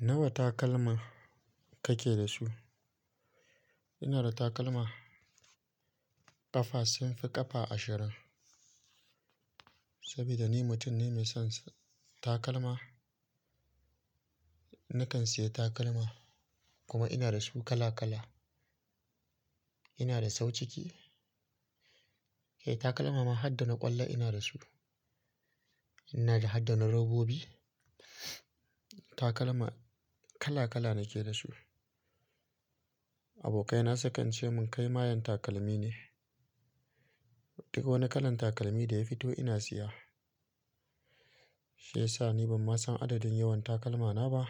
Nawa takalma kake da su? Ina da takalma ƙafa sun fi ƙafa ashirin. Saboda ni mutum ne mai son takalma. Nakan siya takalma kuma ina da su kala kala. Ina da sau ciki. Eh takalma ma Hadda na ƙwallo ina da su. Ina da Hadda na robobi. Takalma kala kala nake da su. Abokaina sukan ce mun kai mayan takalmi ne. Duk wani kalan takalmi da ya fito ina siya. Shi yasa ni ban ma san adadin yawan takalmana ba.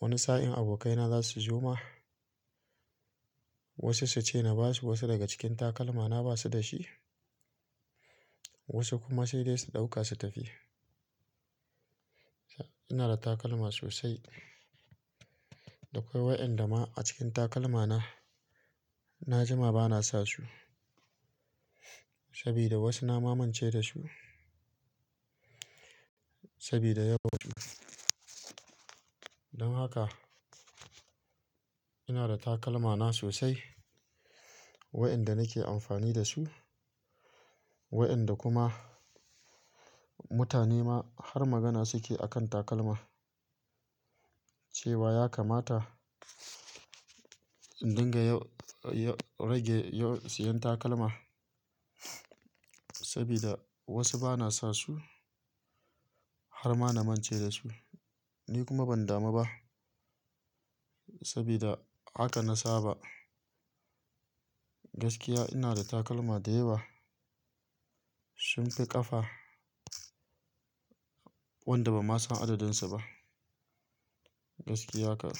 Wani sa'in abokaina za su zo ma. Wasu su ce na ba su wasu daga cikin takalma na ba su da shi. Wasu kuma sai dai su ɗauka su tafi. Ina da takalma sosai. Da kwai wayanda ma a cikin takalmana na jima bana sa su. Sabida wasu na ma mance da su. Sabida yawan su. Don haka ina da takalmana sosai. Wa'inda nake amfani da su. Wa'inda kuma mutane ma har magana suke akan takalma. Cewa ya kamata in dinga ya-ya rage siyan takalma. Sabida wasu bana sa su. Har ma na mance da su. Ni kuma ban damu ba. Sabida haka na saba. Gaskiya ina da takalma dayawa. Sun fi ƙafa wanda ban ma san adadun su ba. Gaskiya haka.